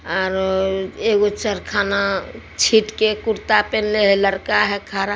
are हे एकगो चरखा न छिट् के लड़का ने कुर्ता पहले हे लड़का है खड़ा--